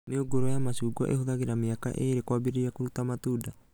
Mĩũngũrwa ya macungwa ĩhũthagĩra mĩaka ĩrĩ kuambĩrĩria kũruta matunda